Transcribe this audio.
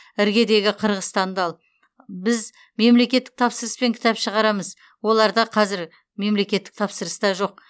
іргедегі қырғызстанды ал біз мемлекеттік тапсырыспен кітап шығарамыз оларда қазір мемлекеттік тапсырыс та жоқ